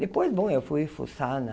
Depois, bom, eu fui fuçar na...